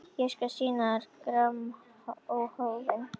Ég skal sýna þér grammófóninn!